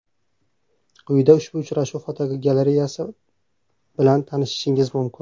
Quyida ushbu uchrashuv fotogalereyasi bilan tanishishingiz mumkin.